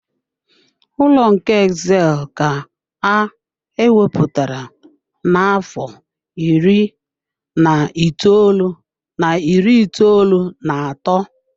Ụlọ nke Exile ka a ewepụtara n'afọ iri na itoolu na iri itoolu na atọ.